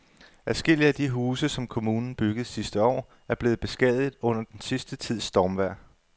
Adskillige af de huse, som kommunen byggede sidste år, er blevet beskadiget under den sidste tids stormvejr.